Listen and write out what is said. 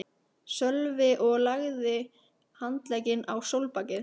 Sölvi og lagði handlegginn á stólbakið.